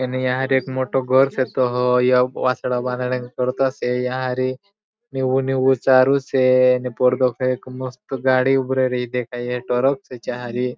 एक या तो मोठो घर छतो हो एक वासड़ा बांदण करतो से या अरी नीळु नीळु चारो छे ने परदो छे एक गाड़ी उब रई ए देखई रई टरक छे चारी.